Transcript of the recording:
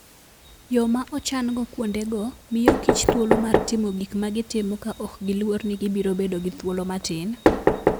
Yo ma ochan-go kuondego miyokich thuolo mar timo gik ma gitimo ka ok giluor ni gibiro bedo gi thuolo matin.